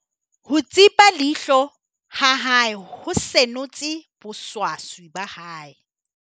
ho tsipa leihlo ha hae ho senotse boswaswi ba hae